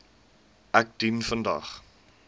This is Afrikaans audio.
ek dien vandag